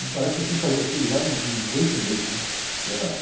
Me parece que eu tinha que fazer aquilo lá em, em dezoito meses, né? Que era...